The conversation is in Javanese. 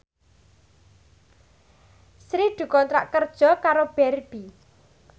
Sri dikontrak kerja karo Barbie